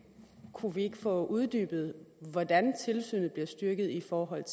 kunne vi ikke få uddybet hvordan tilsynet bliver styrket i forhold